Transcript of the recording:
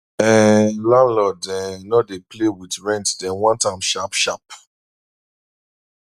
um landlords um no dey play with rent dem want am sharp sharp